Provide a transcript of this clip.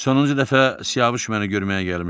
Sonuncu dəfə Siyavuş məni görməyə gəlmişdi.